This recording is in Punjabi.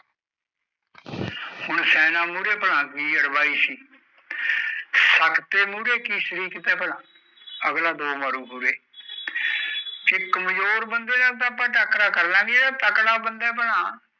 ਹੂਨ ਸਿਆਣਾ ਮੁੜੇ ਕਿ ਰਵਾਯੀ ਸੀ ਸਕਤੇ ਮੁੜੇ ਕਿਥੇ ਸ਼ਰੀ ਕੀਤੇ ਪਰ ਅਗਲਾ ਦੋ ਮਾਰੂ ਮੁਰੇ ਕਿ ਕਮਜ਼ੋਰ ਬੰਦੇ ਮੁੜੇ ਅਸੀਂ ਟਾਕਰਾ ਕਰਲ ਲੈ ਗਏ ਪਰ ਤਗੜੇ ਪਰ